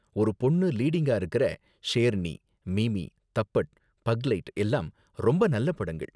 ஒரு பொண்ணு லீடிங்கா இருக்கற ஷேர்ணி, மிமி, தப்பட், பக்லைட் எல்லாம் ரொம்ப நல்ல படங்கள்.